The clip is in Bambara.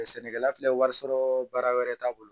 sɛnɛkɛla filɛ wari sɔrɔ baara wɛrɛ t'a bolo